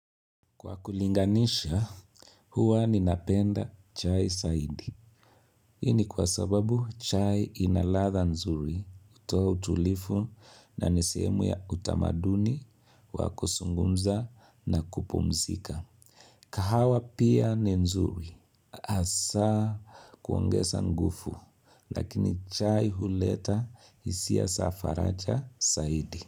Kwa kulinganisha, huwa ninapenda chai saidi. Hii ni kwa sababu chai inalatha nzuri, hutoa utulifu na nisehemu ya utamaduni, wakuzungumza na kupumzika. Kahawa pia ni nzuri, hasaa kuongeza ngufu, lakini chai huleta hisia sa faraja saidi.